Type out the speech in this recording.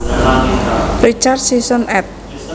Richard Sisson ed